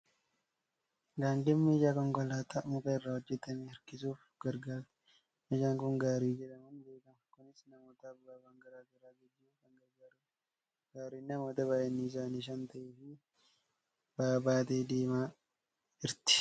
Gaangeen meeshaa konkolaataa muka irraa hojjetame harkisuuf gargaarti. Meeshaan kun Gaarii jedhamuun beekama. Kunis namootaaf ba'aawwan garaa garaa geejjibuuf kan gargaarudha. Gaariin namoota baay'inni isaanii shan ta'ee fi ba'aa baattee deemaa jirti.